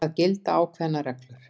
Það gilda ákveðnar reglur.